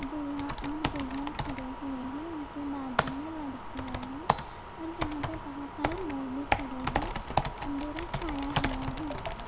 और दूल्हा और दुल्हन खड़े हुए हैं उनके बाजू में लड़कियां हैं और यहां पे बहुत सारे लोग भी खड़े हैं अंधेरा छाया हुआ है।